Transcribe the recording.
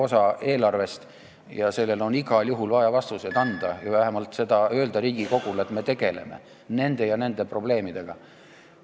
Nii et sellele küsimusele on igal juhul vaja vastuseid anda või vähemalt öelda Riigikogule, et me tegeleme nende ja nende probleemidega.